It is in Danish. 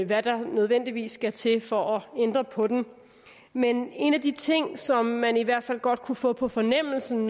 hvad der nødvendigvis skal til for at ændre på den men en af de ting som man i hvert fald godt kunne få på fornemmelsen